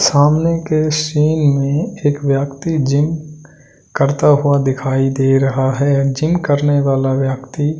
सामने के सीन में एक व्यक्ति जिम करता हुआ दिखाई दे रहा है जिम करने वाला व्यक्ति--